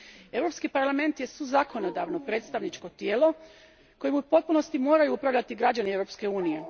Europski parlament je suzakonodavno predstavničko tijelo, kojim u potpunosti moraju upravljati građani Europske unije.